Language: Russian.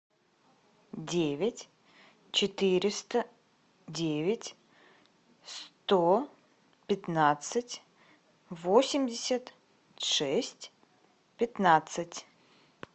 девять четыреста девять сто пятнадцать восемьдесят шесть пятнадцать